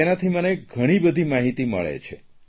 તેનાથી મને ઘણીબધી માહીતી મળે છે